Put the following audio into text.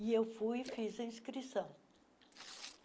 E eu fui e fiz a inscrição.